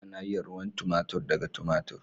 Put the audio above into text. Ana yin ruwan tomatir daga tomatir.